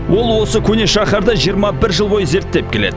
ол осы көне шаһарды жиырма бір жыл бойы зерттеп келеді